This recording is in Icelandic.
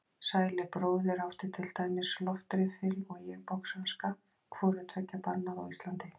Sæli bróðir átti til dæmis loftriffil og ég boxhanska, hvoru tveggja bannað á Íslandi.